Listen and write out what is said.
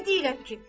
Nə deyirəm ki?